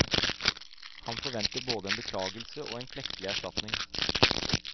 Han forventer både en beklagelse og en klekkelig erstatning.